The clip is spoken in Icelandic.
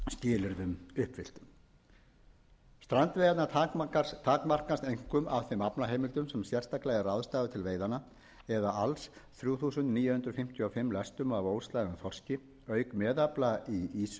skilyrðum uppfylltum strandveiðarnar takmarkast einkum af þeim aflaheimildum sem sérstaklega er ráðstafað til veiðanna eða alls þrjú þúsund níu hundruð fimmtíu og fimm lestum af óslægðum þorski auk meðafla í ýsu upp á